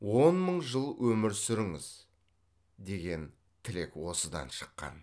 он мың жыл өмір сүріңіз деген тілек осыдан шыққан